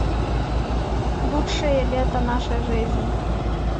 лучшее лето нашей жизни